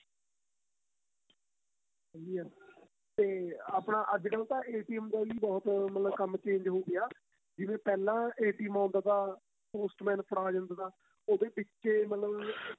ਸਹੀਂ ਏ ਤੇ ਆਪਣਾ ਅੱਜ ਕੱਲ ਦਾ ਬਹੁਤ ਕੰਮ change ਹੋ ਗਿਆ ਜਿਵੇਂ ਪਹਿਲਾਂ ਆਉਦਾ ਤਾਂ Post Man ਫੜਾ ਜਾਂਦਾ ਤਾਂ ਉਹ ਤੇ ਵਿੱਚ ਏ ਮਤਲਬ